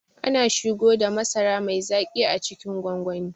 Ana shigoda masara mai zaƙi a cikin gwangwani